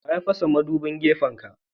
Wa ya fasa madubin gefen ka.?